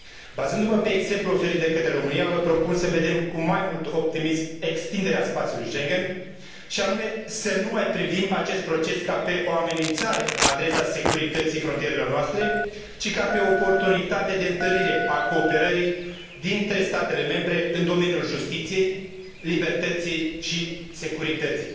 Bazându mă pe exemplul oferit de România, vă propun să vedem cu mai mult optimism extinderea spațiului Schengen, și anume să nu mai privim acest proces ca pe o amenințare la adresa securității frontierelor noastre, ci ca pe o oportunitate de întărire a cooperării dintre statele membre în domeniul justiției, libertății și securității.